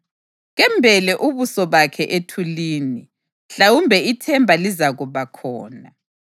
Kembele ubuso bakhe ethulini, mhlawumbe ithemba lizakuba khona.